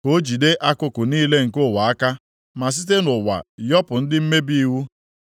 ka o jide akụkụ niile nke ụwa aka ma site nʼụwa yọpụ ndị mmebi iwu?